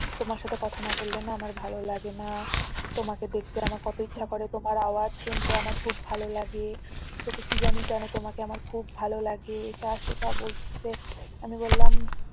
তোমার সাথে কথা না বললে না আমার ভালো লাগে না তোমাকে দেখতে আমার কত ইচ্ছা করে তোমার আওয়াজ শুনতে আমার খুব ভালো লাগে তোকে কি জানি কেন তোমাকে আমার খুব ভালো লাগে এটা সেটা বলতেছে আমি বললাম